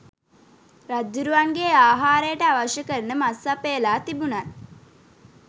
රජ්ජුරුවන්ගේ ආහාරයට අවශ්‍ය කරන මස් සපයලා තිබුණත්